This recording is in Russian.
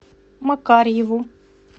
макарьеву